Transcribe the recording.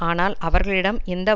ஆனால் அவர்களிடம் இந்த